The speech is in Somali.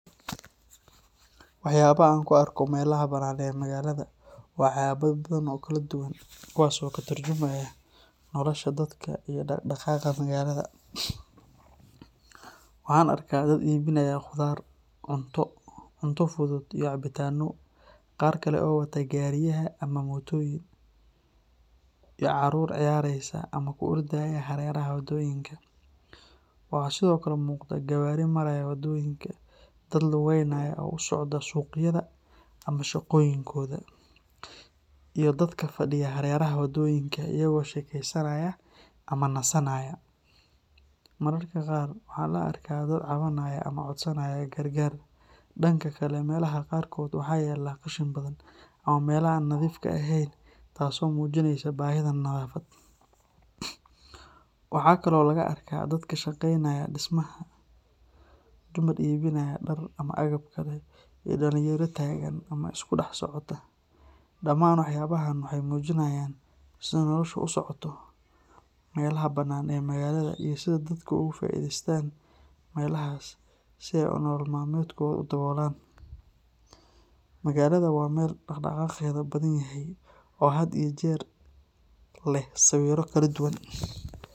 Waxyaabaha aan ku arko meelaha bannaan ee magaalada waa waxyaabo badan oo kala duwan kuwaas oo ka tarjumaya nolosha dadka iyo dhaqdhaqaaqa magaalada. Waxaan arkaa dad iibinaya khudaar, cunto fudud iyo cabitaanno, qaar kale oo wata gaariyaraha ama mootooyin, iyo carruur ciyaaraysa ama ku ordaya hareeraha waddooyinka. Waxaa sidoo kale muuqda gawaari maraya waddooyinka, dad lugeynaya oo u socda suuqyada ama shaqooyinkooda, iyo dadka fadhiya hareeraha wadooyinka iyaga oo sheekeysanaya ama nasanaya. Mararka qaarna waxaa la arkaa dad cabanaya ama codsanaya gargaar. Dhanka kale, meelaha qaarkood waxaa yaalla qashin badan ama meelaha aan nadiifka ahayn taasoo muujinaysa baahida nadaafad. Waxaa kale oo laga arkaa dad ka shaqeynaya dhismaha, dumar iibinaya dhar ama agab kale, iyo dhalinyaro taagan ama iska dhex socota. Dhamaan waxyaabahaan waxay muujinayaan sida noloshu u socoto meelaha bannaan ee magaalada iyo sida dadku uga faa’iideystaan meelahaas si ay nolol maalmeedkooda u daboolaan. Magaalada waa meel dhaq-dhaqaaqeeda badan yahay oo had iyo jeer leh sawirro kala duwan.